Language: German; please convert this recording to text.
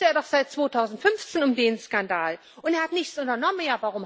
Wusste er doch seit 2015 um den Skandal, und er hat nichts unternommen!